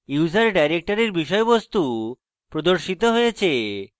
user ডাইরেক্টরির বিষয়বস্তু প্রদর্শিত হয়েছে